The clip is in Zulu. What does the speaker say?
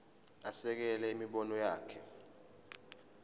asekele imibono yakhe